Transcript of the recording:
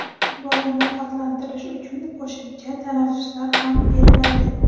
bolani ovqatlantirish uchun qo‘shimcha tanaffuslar ham beriladi.